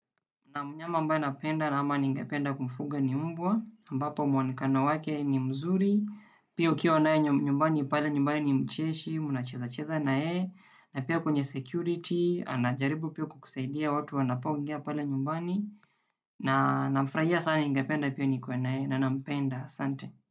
Na mnyama ambaye napenda ama ningependa kumfuga ni mbwa, ambapo mwonekano wake ni mzuri, pia ukiwa naye nyumbani pale nyumbani ni mcheshi, mnachezacheza na yeye, na pia kwenye security, anajaribu pia kukusaidia watu wanapoingia pale nyumbani, na nafurahia sana ningependa pia nikuwe na yeye, na nampenda, asante.